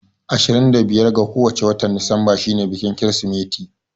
Ashirin da biyar ga kowace watan disemba shi ne biƙin kirismat